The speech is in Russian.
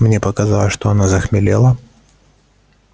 мне показалось что она захмелела